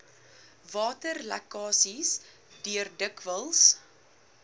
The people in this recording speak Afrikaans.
waterlekkasies deur dikwels